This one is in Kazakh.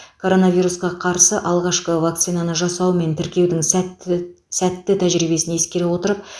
коронавирусқа қарсы алғашқы вакцинаны жасау мен тіркеудің сәтты сәтті тәжірибесін ескере отырып